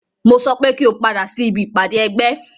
Mo sọ pé kí o padà sí ibi ìpàdé ẹgbẹ́!